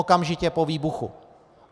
Okamžitě po výbuchu.